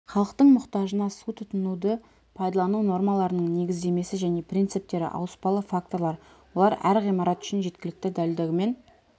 халықтың мұқтажына су тұтынуды пайдалану нормаларының негіздемесі және принциптері ауыспалы факторлар олар әр ғимарат үшін жеткілікті дәлдігімен